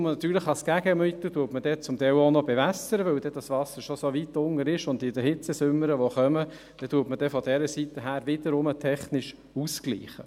Als Gegenmittel bewässert man natürlich zum Teil dann auch noch, weil das Wasser so weit unten ist, und in den Hitzesommern, welche kommen, gleicht man von dieser Seite technisch aus.